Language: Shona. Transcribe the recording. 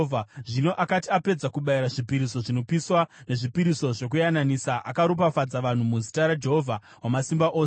Zvino akati apedza kubayira zvipiriso zvinopiswa nezvipiriso zvokuyananisa, akaropafadza vanhu muzita raJehovha Wamasimba Ose.